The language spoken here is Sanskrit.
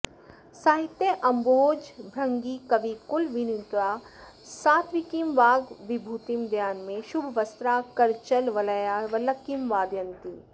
साहित्याम्भोजभृङ्गी कविकुलविनुता सात्त्विकीं वाग्विभूतिं देयान्मे शुभवस्त्रा करचलवलया वल्लकीं वादयन्ती